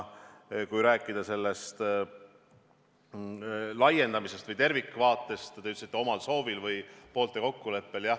Kui rääkida sellest laiendamisest või tervikvaatest, siis te ütlesite, et omal soovil või poolte kokkuleppel lahkunud.